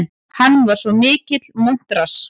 Hann var svo mikill montrass.